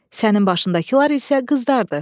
Sənin başındakılar isə qızlardır.